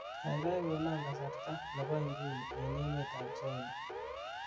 gaigai konon kasarta nebo inguni en emet ab china